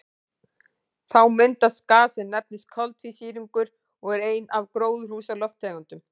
Þá myndast gas sem nefnist koltvísýringur og er ein af gróðurhúsalofttegundunum.